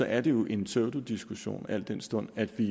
er det jo en pseudodiskussion al den stund at vi